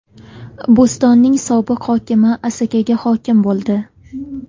Bo‘stonning sobiq hokimi Asakaga hokim bo‘ldi.